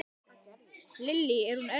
Lillý: Er hún erfið?